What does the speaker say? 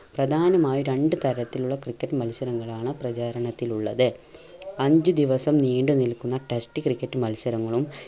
പ്രധാനമായും രണ്ട്‌ തരത്തിലുള്ള ക്രിക്കറ്റ് മത്സരങ്ങളാണ് പ്രചാരണത്തിലുള്ളത് അഞ്ചു ദിവസം നീണ്ട് നിൽക്കുന്ന test ക്രിക്കറ്റ് മത്സരങ്ങളും